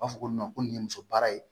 U b'a fɔ ko ko nin ye muso baara ye